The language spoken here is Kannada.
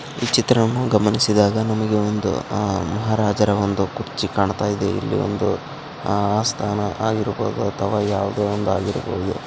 ಈ ಚಿತ್ರವನ್ನು ಗಮನಿಸಿದಾಗ ನಮಗೆ ಒಂದು ಆಹ್ಹ್ ಮಹಾರಾಜರ ಒಂದು ಕುರ್ಚಿ ಕಾಣ್ತಾಯಿದೆ ಇಲ್ಲಿ ಒಂದು ಅಸ್ಥಾನ ಆಗಿರ್ಬಹುದು ಅಥವಾ ಯಾವುದೊ ಒಂದು ಆಗಿರ್ಬಹುದು.